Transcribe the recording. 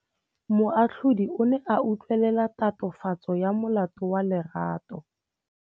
Moatlhodi o ne a utlwelela tatofatsô ya molato wa Lerato.